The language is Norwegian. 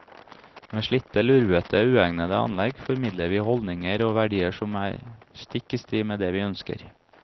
Med slitte, lurvete, uegnede anlegg formidler vi holdninger og verdier som er stikk i strid med det vi ønsker.